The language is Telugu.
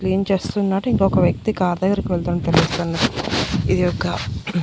క్లీన్ చేస్తునట్టు ఇంకొక వ్యక్తి కార్ దగ్గరకి వెళ్తున్నట్టు తెలుస్తున్నది ఇది ఒక.